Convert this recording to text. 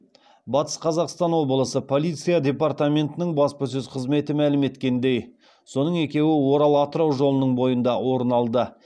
батыс қазақстан облысы полиция департаментінің баспасөз қызметі мәлім еткеніндей соның екеуі орал атырау жолының бойында орын алды